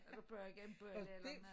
Jeg vil bage en bolle eller noget